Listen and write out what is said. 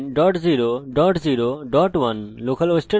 আমি local host লেখা পছন্দ করি